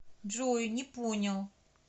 джой не понял